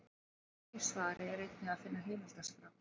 Í því svari er einnig að finna heimildaskrá.